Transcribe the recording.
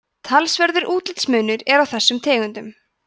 talsverður útlitsmunur er á þessum tegundum